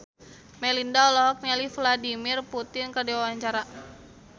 Melinda olohok ningali Vladimir Putin keur diwawancara